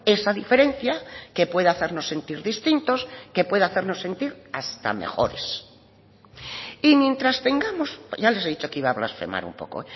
esa diferencia que puede hacernos sentir distintos que puede hacernos sentir hasta mejores y mientras tengamos ya les he dicho que iba a blasfemar un poco